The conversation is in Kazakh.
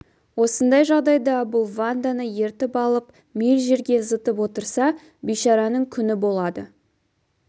осындай жағдайда бұл ванданы ертіп алып миль жерге зытып отырса бейшараның күні болады